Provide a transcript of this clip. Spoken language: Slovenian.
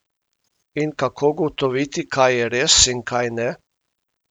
In kako ugotoviti, kaj je res in kaj ne?